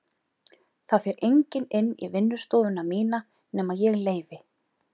Það fer enginn inn í vinnustofuna mína nema ég leyfi.